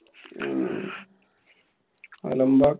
ഹും അലമ്പാ